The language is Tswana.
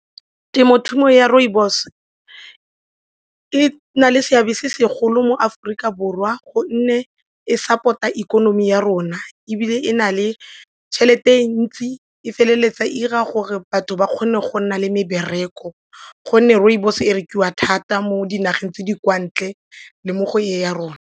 Temothuo ya rooibos e na le seabe se segolo mo Aforika Borwa gonne e support-a ikonomi ya rona ebile e na le tšhelete ntsi e feleletsa e 'ira gore batho ba kgone go nna le mebereko gonne rooibos e rekiwa thata mo dinageng tse di kwa ntle le mo go e ya rona.